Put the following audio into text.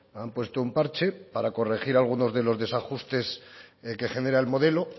han puesto un parche para corregir algunos de los desajustes que genera el modelo